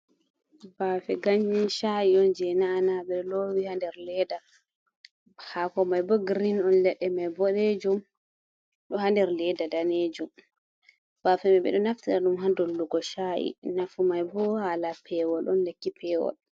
Bafe ganyen sha’i on je na'a'na ɓeɗo lowi ha nder ledda hako mai bo grin on, leɗɗe mai boɗejum ɗo ha nder ledda danejum. Bafe mai ɓeɗo naftira ɗum ha dollugo sha’i, nafu mai bo hala pewol on lekki pewol.